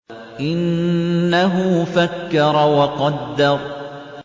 إِنَّهُ فَكَّرَ وَقَدَّرَ